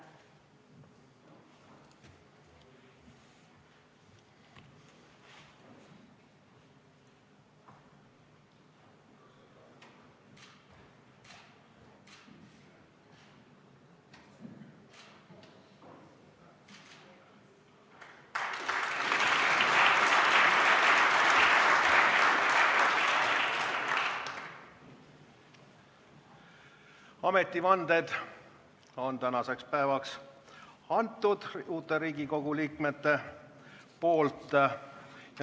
Ametivanne on uutel Riigikogu liikmetel antud.